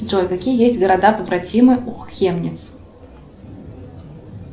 джой какие есть города побратимы у хемниц